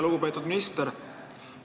Lugupeetud minister!